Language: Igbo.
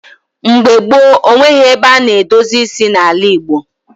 Mgbe gboo, o nweghị ebe a na-edozi isi n’ala Igbo.